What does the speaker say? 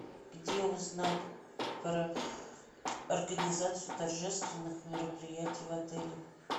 где узнать про организацию торжественных мероприятий в отеле